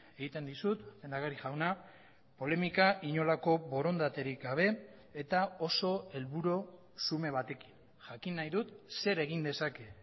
egiten dizut lehendakari jauna polemika inolako borondaterik gabe eta oso helburu xume batekin jakin nahi dut zer egin dezake